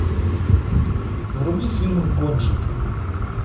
вруби фильм гонщики